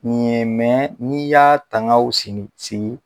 mɛ n'i y'a tangaw sini sigi